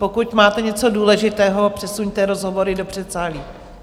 Pokud máte něco důležitého, přesuňte rozhovory do předsálí.